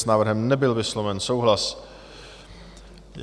S návrhem nebyl vysloven souhlas.